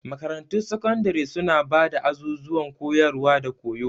Makarantun sakandare suna ba da azuzuwan koyarwa da koyo.